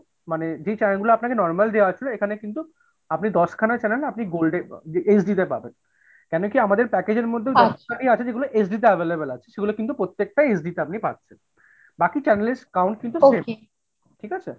মানে যে channel গুলা আপনাকে normal দেয়া হয়েছিল এখানে কিন্তু আপনি দশখানা channel আপনি gold এ HD তে পাবেন কেন কি আমাদের packager মধ্যে আছে যেগুলো HD তে available আছে সেগুলো কিন্তু প্রত্যেকটাই HD তে আপনি পাচ্ছেন। বাকি channel এর count কিন্তু ঠিক আছে?